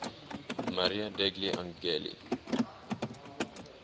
maria degli angeli